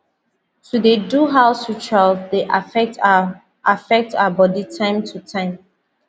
to dey do house ritual dey affect our affect our body time to time